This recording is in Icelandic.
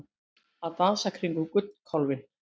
Að dansa kringum gullkálfinn